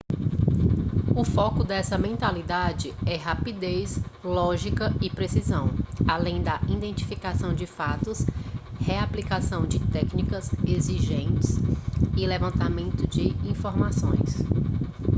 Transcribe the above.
o foco dessa mentalidade é rapidez lógica e precisão além da identificação de fatos reaplicação de técnicas existentes e levantamento de informações